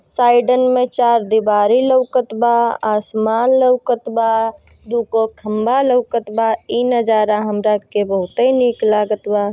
साइडन मे चार दीवारी लोकत बा आसमान लोकत बा दु गो खंभा लोकत बा इ नजारा हमरा आर के बहुते निक लागत बा।